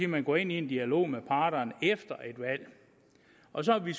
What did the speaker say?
man går ind i en dialog med parterne efter et valg og så har vi